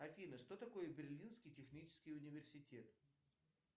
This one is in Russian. афина что такое берлинский технический университет